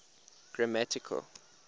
grammatical